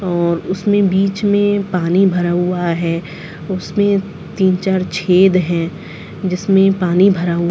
अम्म उसमे बीच में पानी भरा हुआ है उसमे तीन चार छेद है जिस मे पानी भरा हुआ--